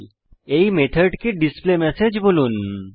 এখন এই মেথডকে ডিসপ্লেমেসেজ বলুন